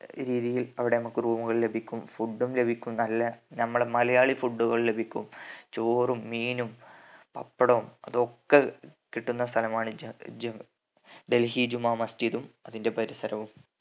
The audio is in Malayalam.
രീതിയിൽ അവിടെ നമ്മക്ക് room കൾ ലഭിക്കും food ഉം ലഭിക്കും നല്ല നമ്മടെ മലയാളി food കൾ ലഭിക്കും ചോറും മീനും പപ്പടോം അതൊക്കെ കിട്ടുന്ന സ്ഥലമാണ് ജെ ജ്യൂ ഡൽഹി ജുമാ മസ്ജിദും അതിന്റെ പരിസരവും